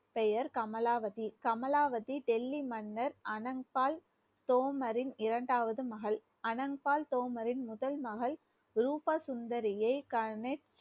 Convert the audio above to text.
பெயர் கமலாவதி கமலாவதி டெல்லி மன்னர் ஆனந்த் பால் சோமரின் இரண்டாவது மகள் ஆனந்த் பால் சோமரின் முதல் மகள் ரூபா சுந்தரியை